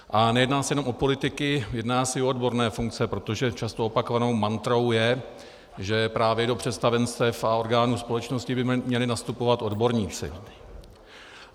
A nejedná se jenom o politiky, jedná se i o odborné funkce, protože často opakovanou mantrou je, že právě do představenstev a orgánů společnosti by měli nastupovat odborníci.